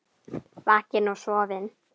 Vakinn og sofinn.